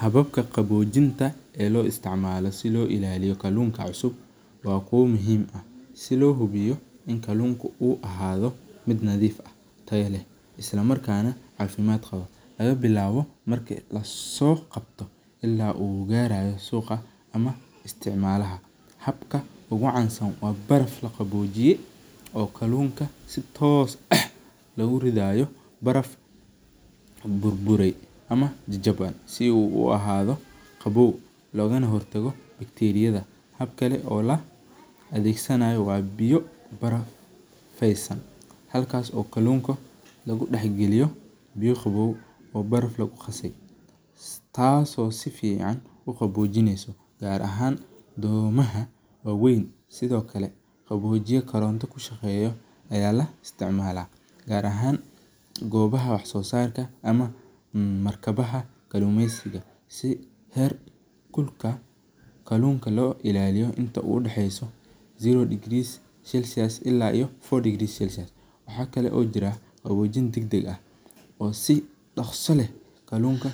Hababka qawojinta ee si lo ilaliyo kalunka xusub waa ku muhiim ah, si lo hubiyo in kalunku u ahado miid tayo leh cafimaad nah u qawo laga bilawo marki laso qabto, habka ogu tosan waa marki lagu ridhayo baraf bur bure oo qawow ah ama jajawan si u uhadho qowow, gar ahan domaha wawen, gar ahan domaha wax sosarka ah, waxaa kalo jira si kalo haraka lagu qawojiyo si kalunka